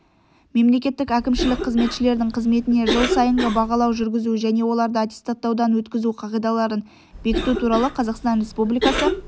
мемлекеттік әкімшілік қызметшілердің қызметіне жыл сайынғы бағалау жүргізу және оларды аттестаттаудан өткізу қағидаларын бекіту туралы қазақстан республикасы